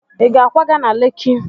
Ị ga-akwaga na Leki?